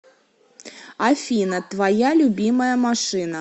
афина твоя любимая машина